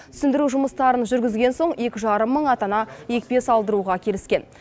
түсіндіру жұмыстарын жүргізген соң екі жарым мың ата ана екпе салдыруға келіскен